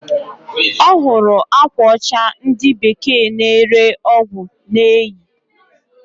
Ọhụrụ akwa ocha ndi bekee na ere ọgwụ na-eyi.